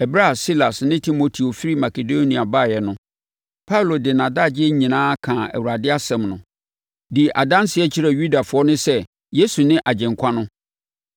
Ɛberɛ a Silas ne Timoteo firi Makedonia baeɛ no, Paulo de nʼadagyeɛ nyinaa kaa Awurade asɛm no, dii adanseɛ kyerɛɛ Yudafoɔ no sɛ Yesu ne Agyenkwa no.